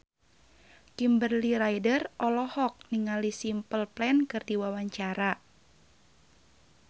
Kimberly Ryder olohok ningali Simple Plan keur diwawancara